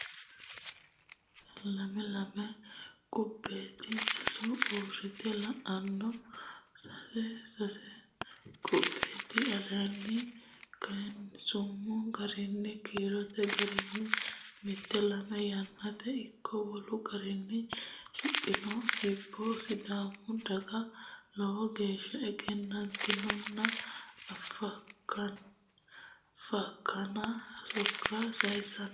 lame Lame qubbeeti Sasu uurrite la anno sase Sase qubbeeti Aleenni kayinsummo garinni kiirote garinni mite lame yaatenni ikko wolu garinni shiqqanno hibbo Sidaamu daga lowo geeshsha egennantinotenna fakkana sokka sayissannote.